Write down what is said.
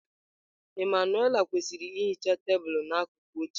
Emmanuelle kwesịrị ihicha tebụl n'akụkụ echi.